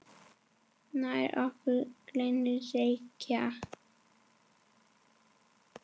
Nær okkur glennir Reykja